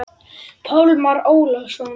Pálmar Ólason.